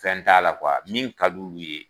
Fɛn t'a la min ka d'ulu ye